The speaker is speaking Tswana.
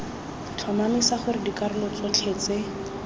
tlhomamisa gore dikarolo tsotlhe tse